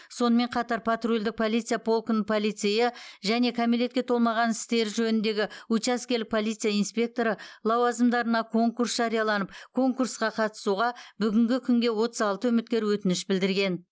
сонымен қатар патрульдік полиция полкінің полицейі және кәмелетке толмаған істері жөніндегі учаскелік полиция инспекторы лауазымдарына конкурс жарияланып конкурсқа қатысуға бүгінгі күнге отыз алты үміткер өтініш білдірген